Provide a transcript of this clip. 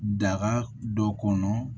Daga dɔ kɔnɔ